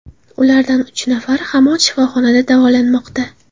Ulardan uch nafari hamon shifoxonada davolanmoqda.